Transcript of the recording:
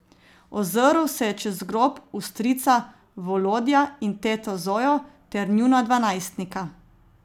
Ozrl se je čez grob v strica Volodja in teto Zojo ter njuna dva najstnika.